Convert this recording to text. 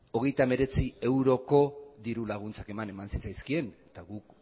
hogeita hemeretziko diru laguntzak eman zitzaizkien eta guk